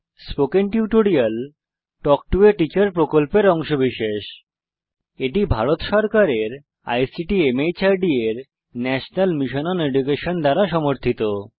spoken tutorial talk to a teacher প্রকল্পের অংশবিশেষ এটি ভারত সরকারের আইসিটি মাহর্দ এর ন্যাশনাল মিশন ওন এডুকেশন দ্বারা সমর্থিত